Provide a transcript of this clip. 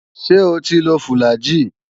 Ṣé o ti lo fùlàgi?